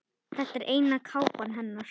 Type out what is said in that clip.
Þetta er eina kápan hennar.